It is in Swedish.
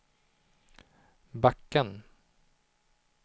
backen